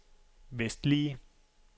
vestlige